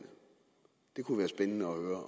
det kunne være spændende at